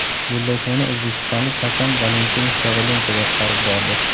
Bellashuvni o‘zbekistonlik hakam Valentin Kovalenko boshqarib bordi.